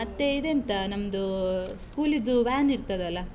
ಮತ್ತೇ ಇದ್ ಎಂತ ನಮ್ದೂ, school ಇದು van ಇರ್ತದಲ್ಲ?